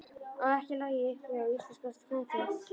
Og ekki logið upp á íslenska kvenþjóð.